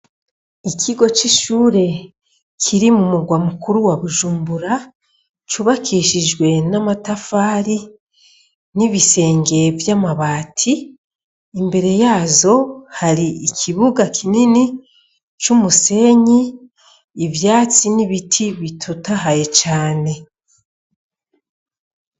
Ikigo c'ishure kiri mumurwa mukuru wa Bujumbura, cubakishijwe n'amatafari n'ibisenge vy'amabati , imbere yazo hari ikibuga kinini, c'umusenyi, ivyatsi ,n'ibiti bitotahaye cane .